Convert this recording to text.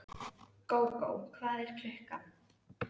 Gógó, hvað er klukkan?